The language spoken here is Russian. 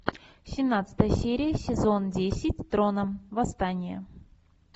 семнадцатая серия сезон десять трона восстание